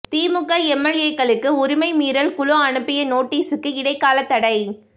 திமுக எம்எல்ஏக்களுக்கு உரிமை மீறல் குழு அனுப்பிய நோட்டீஸுக்கு இடைக்காலத் தடை